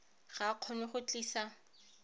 ga a kgone go tlisa